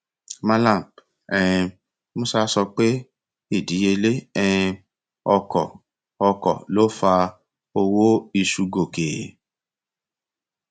malam um musa sọ pé ìdíyelé um ọkọ ọkọ lò fa owó iṣu gòkè